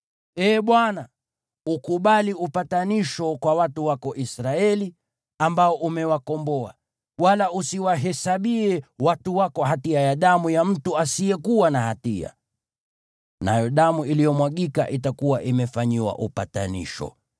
Ee Bwana , ukubali upatanisho kwa watu wako Israeli, ambao umewakomboa, wala usiwahesabie watu wako hatia ya damu ya mtu asiyekuwa na hatia.” Nayo damu iliyomwagika itakuwa imefanyiwa upatanisho.